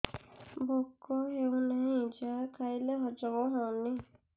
ଭୋକ ହେଉନାହିଁ ଯାହା ଖାଇଲେ ହଜମ ହଉନି